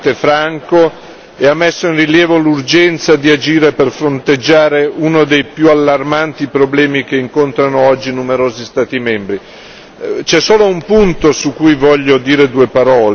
Il dibattito è stato estremamente stimolante, franco e ha messo in rilievo l'urgenza di agire per fronteggiare uno dei più allarmanti problemi che incontrano oggi numerosi Stati membri.